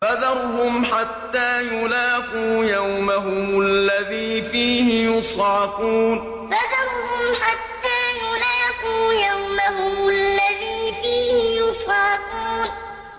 فَذَرْهُمْ حَتَّىٰ يُلَاقُوا يَوْمَهُمُ الَّذِي فِيهِ يُصْعَقُونَ فَذَرْهُمْ حَتَّىٰ يُلَاقُوا يَوْمَهُمُ الَّذِي فِيهِ يُصْعَقُونَ